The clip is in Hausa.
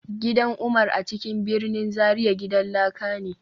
Gidan Umar a cikin birnin Zaria gidan laka ne